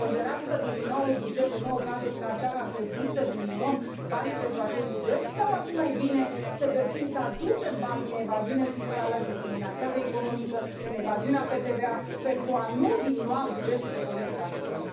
Considerați că din noul buget, în noul cadru financiar, ar trebui să diminuăm banii pentru acest buget sau ar fi mai bine să găsim, să aducem bani din evaziune fiscală, din criminalitate economică, din evaziunea pe TVA, pentru a nu diminua bugetul pe Politică Agricolă?